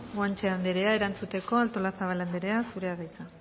guanche anderea erantzuteko artolazabal anderea zurea da hitza